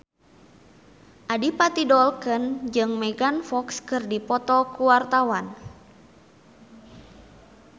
Adipati Dolken jeung Megan Fox keur dipoto ku wartawan